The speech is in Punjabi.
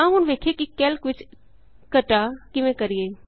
ਆੳ ਹੁਣ ਸਿੱਖੀਏ ਕਿ ਕੈਲਕ ਵਿਚ ਘਟਾ ਕਿਵੇਂ ਕਰੀਏ